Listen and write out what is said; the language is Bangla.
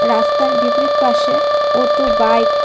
রাস্তার বিপরীত পাশে অটো বাইক --